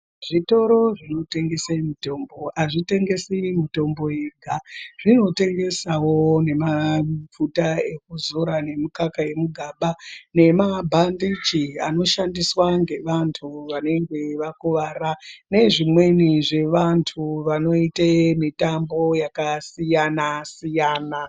Zvitoro zvinotengese mitombo azvitengesi mitombo yega. Zvinotengesawo nemafuta ekuzora nemukaka wemugaba nemabhandechi anoshandiswa ngevantu vanenge vakuwara nezvimweni zvevantu vanoite mitambo yakasiyana siyana.